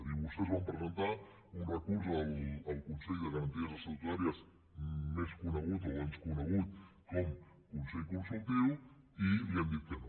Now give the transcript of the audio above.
diu vostès van presentar un recurs al consell de garanties estatutàries més conegut o abans conegut com a consell consultiu i li han dit que no